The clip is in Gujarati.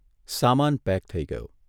સામાન પેક થઇ ગયો.